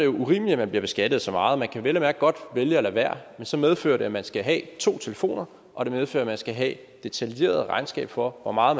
urimeligt at man bliver beskattet af så meget man kan vel at mærke godt vælge at lade være men så medfører det at man skal have to telefoner og det medfører at man skal have et detaljeret regnskab for hvor meget